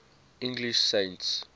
english saints